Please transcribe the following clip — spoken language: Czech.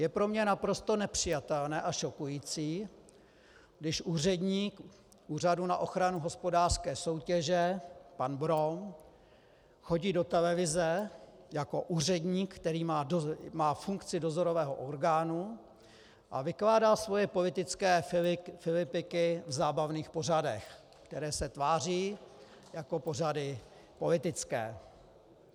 Je pro mě naprosto nepřijatelné a šokující, když úředník Úřadu na ochranu hospodářské soutěže pan Brom chodí do televize jako úředník, který má funkci dozorového orgánu, a vykládá svoje politické filipiky v zábavných pořadech, které se tváří jako pořady politické.